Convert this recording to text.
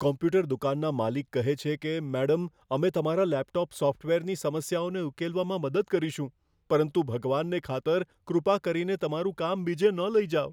Computer દુકાનના માલિક કહે છે કે, મેડમ, અમે તમારા લેપટોપ સોફ્ટવેરની સમસ્યાઓને ઉકેલવામાં મદદ કરીશું પરંતુ ભગવાનને ખાતર, કૃપા કરીને તમારૂ કામ બીજે ન લઈ જાઓ.